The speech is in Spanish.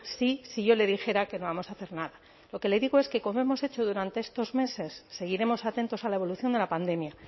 sí si yo le dijera que no vamos a hacer nada lo que le digo es que como hemos hecho durante estos meses seguiremos atentos a la evolución de la pandemia